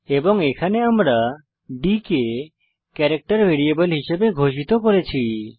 এবং এখানে আমরা ডি কে ক্যারেক্টার ভ্যারিয়েবল হিসাবে ঘোষিত করেছি